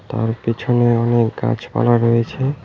আর পিছনে অনেক গাছপালা রয়েছে।